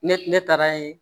Ne ne taara ye